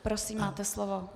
Prosím, máte slovo.